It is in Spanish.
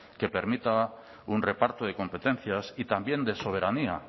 que permita un reparto de competencias y también de soberanía